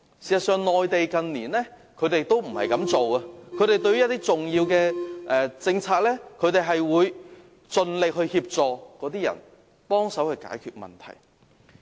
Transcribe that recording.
事實上，內地政府近年在落實一些重要政策時，都有盡力協助有關人士，幫忙解決問題。